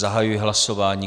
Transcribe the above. Zahajuji hlasování.